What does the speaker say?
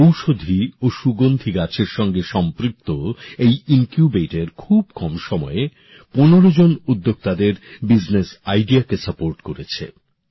ঔষধি ও সুগন্ধি গাছের সঙ্গে সম্পৃক্ত এই ইনকিউবেটর খুব কম সময়ে ১৫ জন উদ্যোক্তাদের ব্যবসার ভাবনাকে সাহায্য করেছে